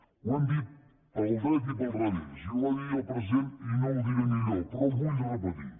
ho hem dit pel dret i pel revés i ho va dir el president i no ho diré millor però ho vull repetir